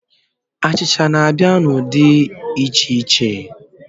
Achịcha n'abịa n'ụdị dị iche iche.